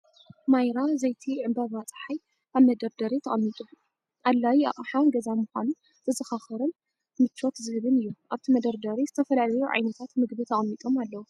"ማይራ" ዘይቲ ዕምባባ ጸሓይ ኣብ መደርደሪ ተቐሚጡ፡ ኣድላዪ ኣቕሓ ገዛ ምዃኑ ዘዘኻኽርን ምቾት ዝህብን እዩ። ኣብቲ መደርደሪ ዝተፈላለዩ ዓይነታት መግቢ ተቐሚጦም ኣለዉ።